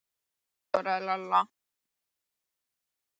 Já, hún er svaka góð svaraði Lilla.